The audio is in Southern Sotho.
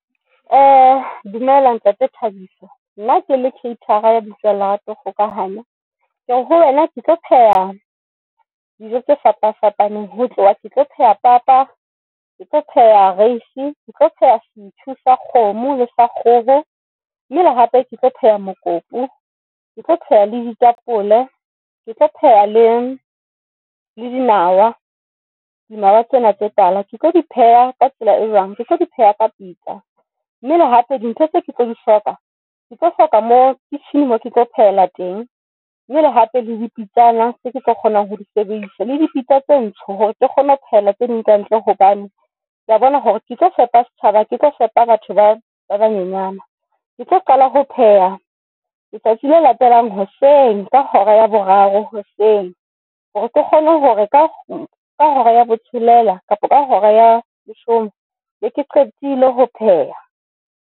Dumela Ntate Thabiso nna kele caterer ya lebitso la Kgokahanyo, Kere ho wena ke tlo pheha dijo tse fapa fapaneng, ho tloha ke tlo pheha papa ke tlo pheha rice, Ke tlo pheha, setjhu sa kgomo le sekgoho, mme le hape ke tlo pheha mokopu, Ke tlo pheha le ditapole, Ke tlo pheha le le dinawa. Dinawa tsena tse tala ke tlo di pheha ka tsela e jwang ke tlo di pheha ka Peter mme le hape dintho tse ke tlo di shock a Ke tlo hloka mo kitchen mo ke tlo phela teng mmele hape le dipitsa. Na se ke tlo kgonang ho di sebedisa le dipitsa tse ntsho hore ke kgone ho phela tse ding tse hantle. Hobane kea bona hore ke tlo fepa setjhaba, ha ke tlo fepa batho ba ba nyenyana ke tlo qala ho pheha letsatsi le latelang hoseng ka hora ya boraro hoseng hore ke kgone hore ka ka hora ya bo tshelela kapa ka hora ya leshome be ke qetile ho pheha.